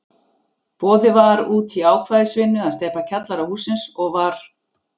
Boðið var út í ákvæðisvinnu að steypa kjallara hússins, og var